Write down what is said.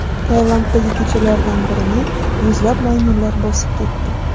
Tailanddagi ko‘chalardan birini yuzlab maymunlar bosib ketdi .